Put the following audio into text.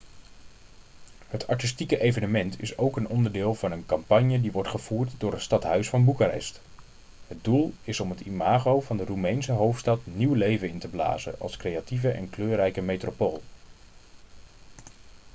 het artistieke evenement is ook een onderdeel van een campagne die wordt gevoerd door het stadhuis van boekarest het doel is om het imago van de roemeense hoofdstad nieuw leven in te blazen als creatieve en kleurrijke metropool